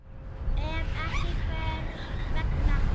Ef ekki, hvers vegna?